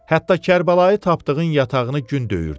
Hətta Kərbəlayı Tapdığın yatağını gün döyürdü.